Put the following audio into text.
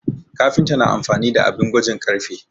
Kafinta na amfani da abin gwajin ƙarfe